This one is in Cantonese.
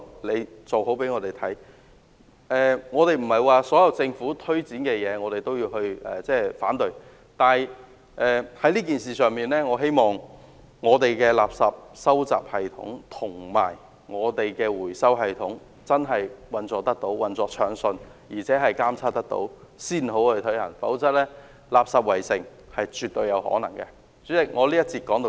我們並非要反對所有政府推展的工作，而是在這件事情上，我希望我們的垃圾收集系統及回收系統要確實運作暢順，並要進行監察，才可推行，否則垃圾圍城絕對有可能出現。